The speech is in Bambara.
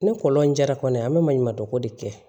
Ni kɔlɔn in jara kɔni an bɛ maɲumandɔko de kɛ